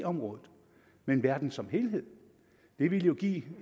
området men verden som helhed det ville jo give